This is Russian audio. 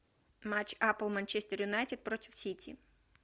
матч апл манчестер юнайтед против сити